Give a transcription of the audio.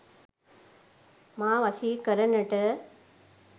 මා වශී කරනට